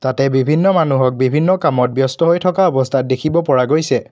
তাতে বিভিন্ন মানুহক বিভিন্ন কামত ব্যস্ত হৈ থকা অৱস্থাত দেখিব পৰা গৈছে।